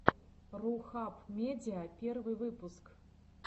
рухаб медиа первый выпуск